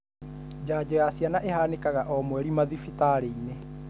Janjo ya ciana ĩhanĩkaga o mweri madhibitarĩinĩ.